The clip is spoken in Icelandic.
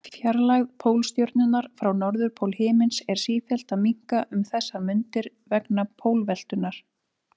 Fjarlægð Pólstjörnunnar frá norðurpól himins er sífellt að minnka um þessar mundir vegna pólveltunnar.